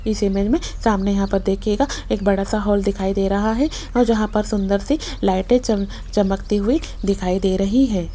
इस इमेज में सामने यहां पर देखियेगा एक बड़ा सा हॉल दिखाई दे रहा है और जहां पर सुंदर सी लाइटें चम चमकती हुई दिखाई दे रही हैं।